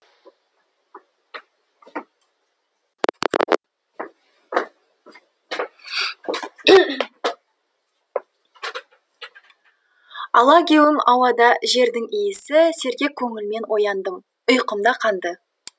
алагеуім ауада жердің иісі сергек көңілмен ояндым ұйқым да қанды